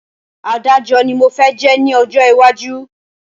Adájọ́ ni mo fẹ́ jẹ́ ní ọjọ́ iwájú